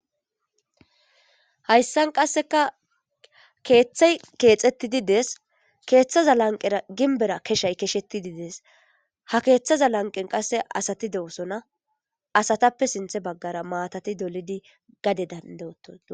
hayssan qasseka keeththay keexetti dides keeththaza lanqera ginbera keshay kesheti dides ha keeththaza lanqen qasse asati de7osona asatappe sinthe baggara maatati dolidi gade danda7oto